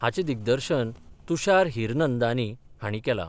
हाचे दिग्दर्शन तुषार हिरनंदानी हांणी केलां.